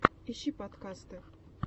ищи подкасты